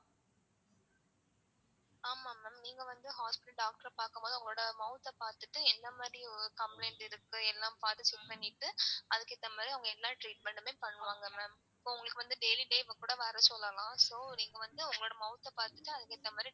ஆமா ma'am நீங்க வந்து hospital ல doctor அ பாக்கும் போது உங்களோட mouth அ பாத்துட்டு எந்த மாதிரி complaint இருக்கு எல்லாம் பாத்து check பண்ணிட்டு அதுக்கு ஏத்த மாதிரி அவங்க எல்லா treatment மே பண்ணுவாங்க ma'am இப்போ உங்களுக்கு வந்து daily daily ம் கூட வர சொல்லலாம். so நீங்க வந்து உங்க mouth அ பாத்துட்டு அதுக்கு ஏத்தமாதிரி.